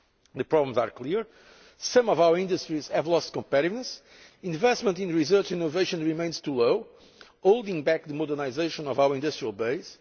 The problems are clear. Some of our industries have lost competitiveness investment in research and innovation remains too low, holding back the modernisation of our industrial